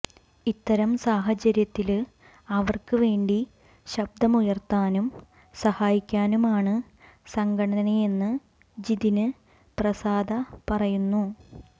ഇത്തരം സാഹചര്യത്തില് അവര്ക്ക് വേണ്ടി ശബ്ദമുയര്ത്താനും സഹായിക്കാനുമാണ് സംഘടനയെന്ന് ജിതിന് പ്രസാദ പറയുന്നു